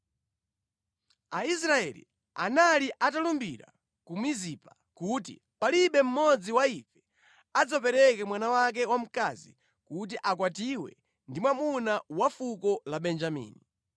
Aisraeli anali atalumbira ku Mizipa kuti, “Palibe mmodzi wa ife adzapereke mwana wake wamkazi kuti akwatiwe ndi mwamuna wa fuko la Benjamini.”